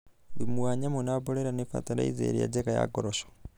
Thũmu wa nyamũ na mborera nĩ batalaiza ĩrĩa njega ya ngoroco